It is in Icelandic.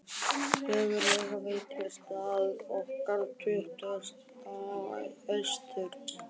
huggulega veitingastað okkar á Tuttugasta og fyrsta Austur